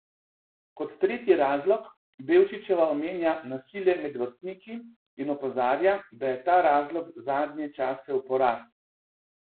Kot tretji razlog Bevčičeva omenja nasilje med vrstniki in opozarja, da je ta razlog zadnje čase v porastu.